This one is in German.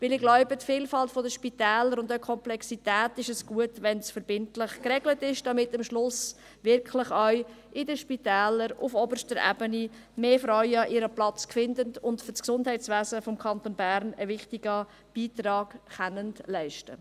Ich glaube, es ist gut, wenn die Vielfalt der Spitäler und die Komplexität verbindlich geregelt ist, damit am Schluss in den Spitälern auf oberster Ebene mehr Frauen ihren Platz finden und für das Gesundheitswesen im Kanton Bern einen wichtigen Beitrag leisten können.